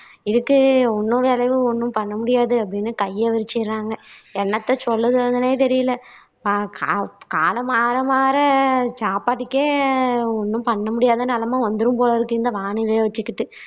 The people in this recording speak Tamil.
ஒண்ணும் விளைவு ஒண்ணும் பண்ண முடியாது அப்படின்னு கையை விரிச்சுடுறாங்க. என்னாத்த சொல்லுதன்னே தெரியல காலம் மாற மாற சாப்பாட்டுக்கே ஒண்ணும் பண்ண முடியாத நிலைமை வந்துரும் போலருக்கு இந்த வானிலையை வச்சுக்கிட்டு